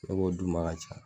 Ne b'o d'u ma a ka ca.